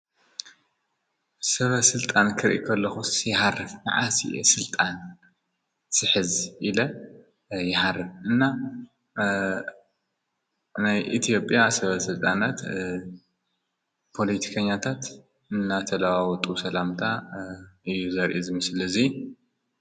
ሰበ ሥልጣን ክርኢ ከለኹስ ይሃርፍ መዓዝ እየ ሥልጣን ዝሕዝ ኢለ ይሃርፍ እና ናይ ኢትዮጵያ ሰብ ሥልጣናት ፖለቲከኛታት እናተለዋወጡ ሰላምታ እዩ ዘርኢ እዚ ምስሊ እዚ።